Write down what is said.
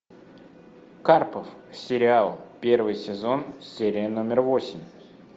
карпов сериал первый сезон серия номер восемь